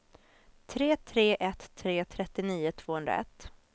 tre tre ett tre trettionio tvåhundraett